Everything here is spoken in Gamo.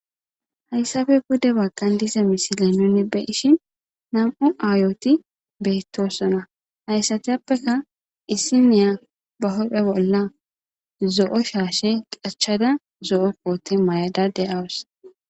hayssafe bude baggan dize misiley nunne beishin nam7u aayoti beettossona hayssatiyappeka issi niya ba hophe bolla zo7o shaashe qachchada zo7o poote may7ada deyawus